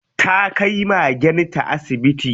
Ta kai magenta asibiti.